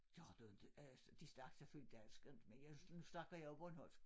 Gør du inte øh de snakkede selvfølgelig dansk og men jeg nu snakker jeg jo bornholmsk